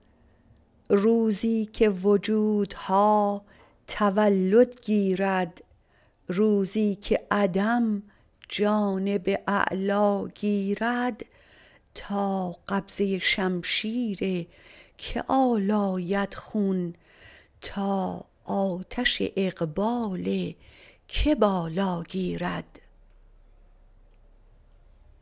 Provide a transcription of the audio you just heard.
روزیکه وجودها تولد گیرد روزیکه عدم جانب اعلا گیرد تا قبضه شمشیر که آلاید خون تا آتش اقبال که بالا گیرد